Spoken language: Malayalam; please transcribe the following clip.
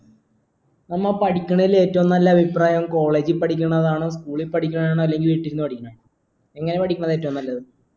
എന്ന പഠിക്കണേൽ ഏറ്റവും നല്ല അഭിപ്രായം college ൽ പഠിക്കുന്നതാണോ school ൽ പഠിക്കുന്നതനോ അല്ലെങ്കി വീട്ടിൽന്ന് പഠിക്കണതാണോ എങ്ങനാ പഠിക്കണതാണ് ഏറ്റവും നല്ലത്